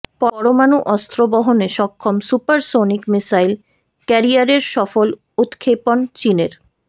পরমাণু অস্ত্র বহনে সক্ষম সুপারসনিক মিসাইল ক্যারিয়ারের সফল উত্ক্ষেপণ চিনের